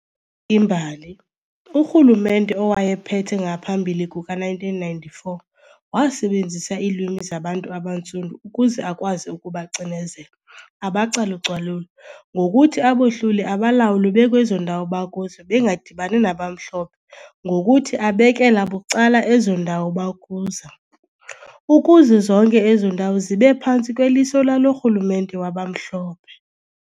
imbali, urhulumente owayephethe ngaphambili kuka1994 wasebenzisa iilwimi zabantu abantsundu ukuze akwazi ukubacinezela, abacalucalule, ngokuthi abohlule abalawule bekwezo ndawo bakuzo bengadibani nabamhlophe ngokuthi abekela bucala ezo ndawo bakuzo, ukuze zonke ezo ndawo zibe phantsi kweliso lalo rhulumente wabamhlophe.